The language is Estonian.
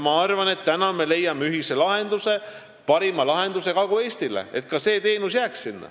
Ma arvan, et me leiame ühiselt parima lahenduse Kagu-Eestile, et see teenus sinna jääks.